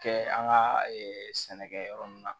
Kɛ an ka sɛnɛkɛ yɔrɔ nun na